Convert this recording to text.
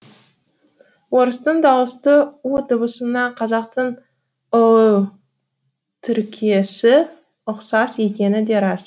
орыстың дауысты у дыбысына қазақтың ұ тіркесі ұқсас екені де рас